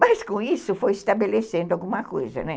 Mas com isso foi estabelecendo alguma coisa, né?